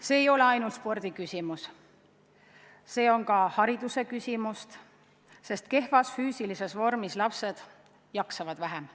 Siin ei ole küsimus ainult spordis, küsimus on ka hariduses, sest kehvas füüsilises vormis lapsed jaksavad vähem.